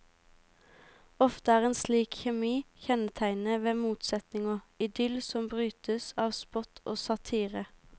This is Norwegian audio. Ofte er en slik kjemi kjennetegnet ved motsetninger, idyll som brytes av spott og satire.